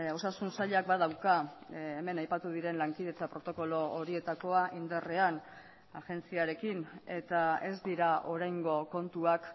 osasun sailak badauka hemen aipatu diren lankidetza protokolo horietakoa indarrean agentziarekin eta ez dira oraingo kontuak